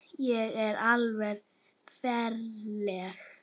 Ég er alveg ferleg.